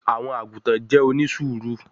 àwọn àgùtàn jẹ́ onísùúrù